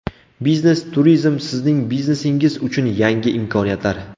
Biznes-turizm sizning biznesingiz uchun yangi imkoniyatlar.